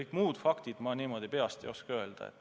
Kas ka kõik muu, ma niimoodi peast ei oska öelda.